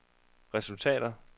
resultater